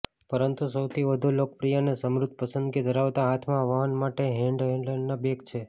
પરંતુ સૌથી વધુ લોકપ્રિય અને સમૃદ્ધ પસંદગી ધરાવતા હાથમાં વહન માટે હેન્ડહેલ્ડના બેગ છે